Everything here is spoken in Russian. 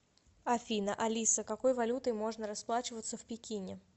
афина алиса какой валютой можно расплачиваться в пекине